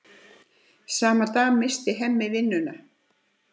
Sama dag missir Hemmi vinnuna.